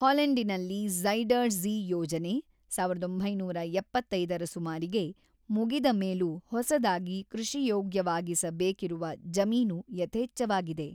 ಹಾಲೆಂಡಿನಲ್ಲಿ Zuider Zee ಯೋಜನೆ ೧೯೭೫ರ ಸುಮಾರಿಗೆ ಮುಗಿದ ಮೇಲೂ ಹೊಸದಾಗಿ ಕೃಷಿಯೋಗ್ಯವಾಗಿಸ ಬೇಕಿರುವ ಜಮೀನು ಯಥೇಚ್ಛವಾಗಿದೆ.